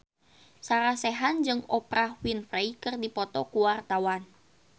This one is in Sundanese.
Sarah Sechan jeung Oprah Winfrey keur dipoto ku wartawan